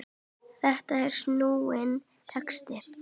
Þetta er snúinn texti.